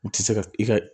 U tɛ se ka i ka